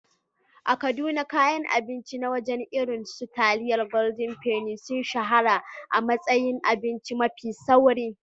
A Kaduna, kayan abinci na waje irin su taliyar Golden penny sun shahara a matsayin abinci mafi sauri.